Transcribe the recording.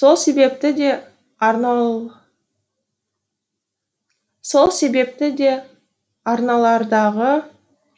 сол себепті де арналардағы